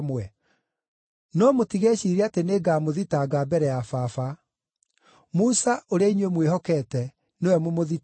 “No mũtigeciirie atĩ nĩngamũthitanga mbere ya Baba. Musa ũrĩa inyuĩ mwĩhokeete nĩwe mũmũthitangi.